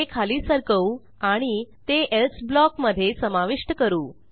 हे खाली सरकवू आणि ते एल्से ब्लॉक मधे समाविष्ट करू